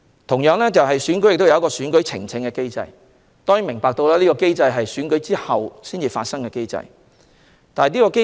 同時，區議會選舉亦有選舉呈請機制，當然這是在選舉後才可以啟動的機制。